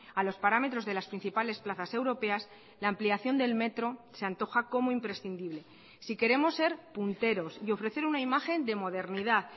a los parámetros de las principales plazas europeas la ampliación del metro se antoja como imprescindible si queremos ser punteros y ofrecer una imagen de modernidad